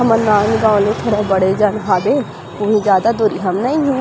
हमर नाँदगांव ले थोड़ा बड़े जान हावे उहु में जादा दूरीहा मे नई हे।